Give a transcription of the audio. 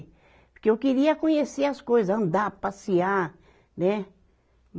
Porque eu queria conhecer as coisa, andar, passear, né?